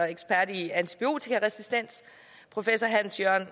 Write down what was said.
ekspert i antibiotikaresistens professor hans jørn